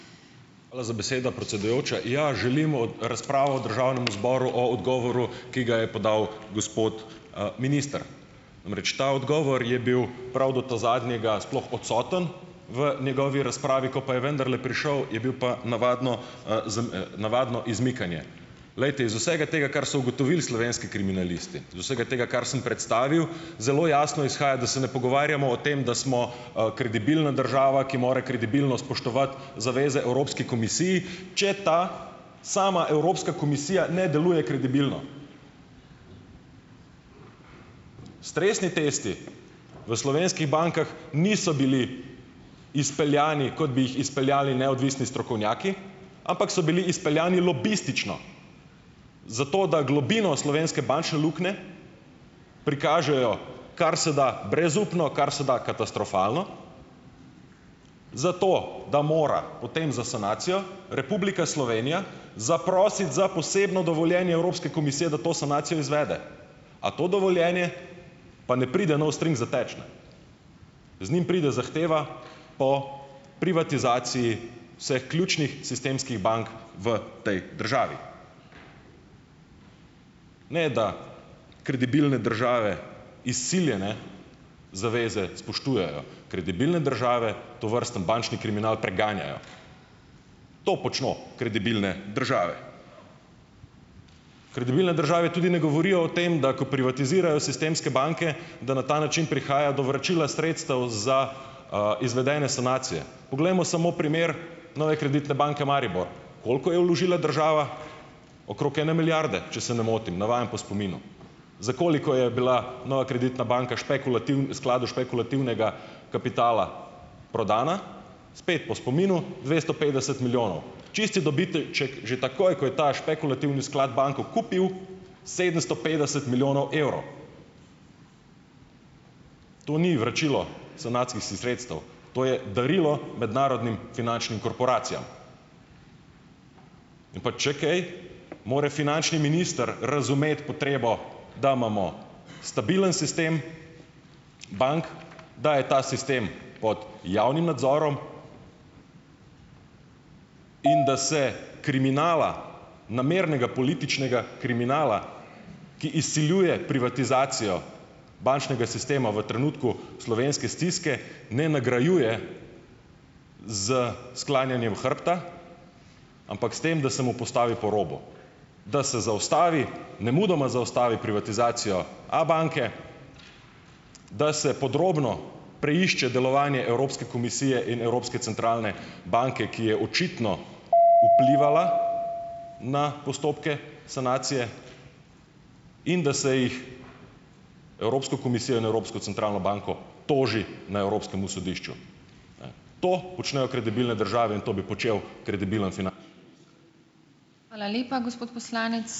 Hvala za besedo, predsedujoča. Ja, želimo razpravo v državnem zboru o odgovoru, ki ga je podal gospod, minister. Namreč ta odgovor je bil prav do ta zadnjega sploh odsoten v njegovi razpravi, ko pa je vendarle prišel, je bil pa navadno, navadno izmikanje. Glejte, iz vsega tega, kar so ugotovili slovenski kriminalisti, iz vsega tega, kar sem predstavil, zelo jasno izhaja, da se ne pogovarjamo o tem, da smo, kredibilna država, ki mora kredibilno spoštovati zaveze Evropski komisiji, če ta sama Evropska komisija ne deluje kredibilno. Stresni testi v slovenskih bankah niso bili izpeljani, kot bi jih izpeljali neodvisni strokovnjaki, ampak so bili izpeljani lobistično, zato da globino slovenske bančne luknje prikažejo kar se da brezupno, kar se da katastrofalno, zato da mora potem za sanacijo Republika Slovenija zaprositi za posebno dovoljenje Evropske komisije, da to sanacijo izvede. A to dovoljenje pa ne pride no strings attached, ne, z njim pride zahteva po privatizaciji vseh ključnih sistemskih bank v tej državi. Ne, da kredibilne države izsiljene zaveze spoštujejo. Kredibilne države tovrsten bančni kriminal preganjajo! To počno kredibilne države. Kredibilne države tudi ne govorijo o tem, da ko privatizirajo sistemske banke, da na ta način prihaja do vračila sredstev za, izvedene sanacije. Poglejmo samo primer Nove Kreditne banke Maribor. Koliko je vložila država? Okrog ene milijarde, če se ne motim, navajam po spominu. Za koliko je bila Nova Kreditna banka v skladu špekulativnega kapitala prodana? Spet po spominu - dvesto petdeset milijonov. Čisti že takoj, ko je ta špekulativni sklad banko kupil, sedemsto petdeset milijonov evrov. To ni vračilo sanacijskih sredstev, to je darilo mednarodnim finančnim korporacijam. In pa, če kaj, moral finančni minister razumeti potrebo, da imamo stabilen sistem bank, da je ta sistem pod javnim nadzorom in da se kriminala, namernega političnega kriminala, ki izsiljuje privatizacijo bančnega sistema v trenutku slovenske stiske, ne nagrajuje s sklanjanjem hrbta, ampak s tem, da se mu postavi po robu, da se zaustavi nemudoma zaustavi privatizacijo Abanke, da se podrobno preišče delovanje Evropske komisije in Evropske centralne banke, ki je očitno vplivala na postopke sanacije in da se jih Evropsko komisijo in Evropsko centralno banko toži na Evropskem sodišču, ne. To počnejo kredibilne države in to bi počel kredibilen finančni ...